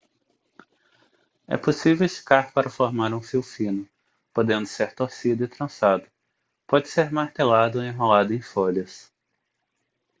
é possível esticar para formar um fio fino podendo ser torcido e trançado pode ser martelado ou enrolado em folhas